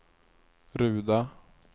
Ruda